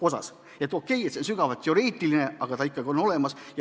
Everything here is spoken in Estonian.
Okei, see võimalus on sügavalt teoreetiline, aga see on ikkagi olemas.